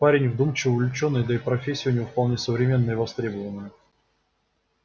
парень вдумчивый увлечённый да и профессия у него вполне современная и востребованная